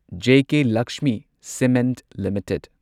JK Lakshmi cement limited